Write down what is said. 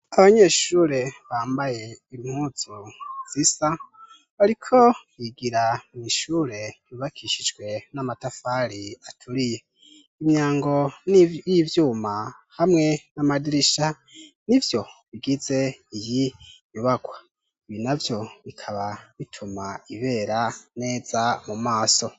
Abanyeshure bambay' impuzu zisa bicaye ku ntebe bariko barakora ikibazo, umw' umwe wes' afise igipapuro cera imbere yiwe n' ikaramu, hari n' unwarimu yambay' ishat' itukura arikubacunga, abafasha kuco badasobanukiwe kugir' ikibazo kigende neza, inzu y' ubakishijw' amatafar' ahiy' ifis' amadirisha manini kumpand' atang' umuc' ukwiye.